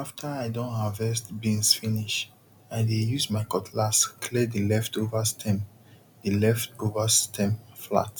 after i don harvest beans finish i dey use my cutlass clear the leftover stem the leftover stem flat